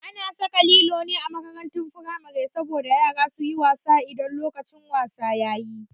A na saka lilo ne a makarantun firamare saboda yara su yi wasa idan lokacin wasa yayi